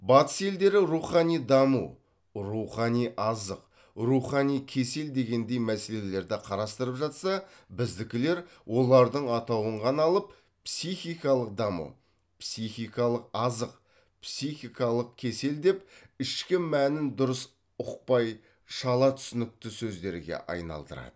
батыс елдері рухани даму рухани азық рухани кесел дегендей мәселелерді қарастырып жатса біздікілер олардың атауын ғана алып психикалық даму психикалық азық психикалық кесел деп ішкі мәнін дұрыс ұқпай шала түсінікті сөздерге айналдырады